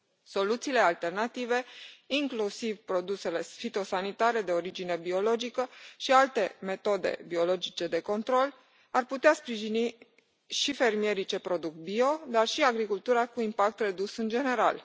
Soluțiile alternative, inclusiv produsele fitosanitare de origine biologică și alte metode biologice de control, ar putea sprijini și fermierii ce produc bio, dar și agricultura cu impact redus în general.